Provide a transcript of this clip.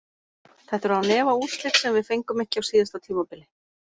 Þetta eru án efa úrslit sem við fengum ekki á síðasta tímabili.